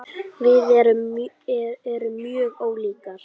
Við erum mjög ólíkar.